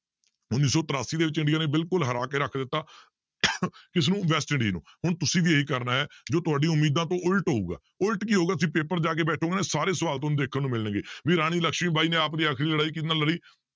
ਉੱਨੀ ਸੌ ਤਰਾਸੀ ਦੇ ਵਿੱਚ ਇੰਡੀਆ ਨੇ ਬਿਲਕੁਲ ਹਰਾ ਕੇ ਰੱਖ ਦਿੱਤਾ ਕਿਸਨੂੰ ਵੈਸਟ ਇੰਡੀ ਨੂੰ ਹੁਣ ਤੁਸੀਂ ਵੀ ਇਹੀ ਕਰਨਾ ਹੈ ਜੋ ਤੁਹਾਡੀ ਉਮੀਦਾਂ ਤੋਂ ਉੱਲਟ ਹੋਊਗਾ ਉੱਲਟ ਕੀ ਹੋਊਗਾ ਕਿ ਪੇਪਰ 'ਚ ਜਾ ਕੇ ਬੈਠੋਗੇ ਨਾ ਸਾਰੇ ਸਵਾਲ ਤੁਹਾਨੂੰ ਦੇਖਣ ਨੂੰ ਮਿਲਣਗੇ ਵੀ ਰਾਣੀ ਲਕਸ਼ਮੀ ਬਾਈ ਨੇ ਆਪਦੀ ਆਖਰੀ ਲੜਾਈ ਕਿਹਦੇ ਨਾਲ ਲੜੀ?